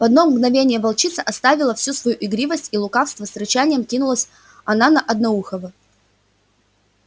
в одно мгновение волчица оставила всю свою игривость и лукавство с рычанием кинулась она на одноухого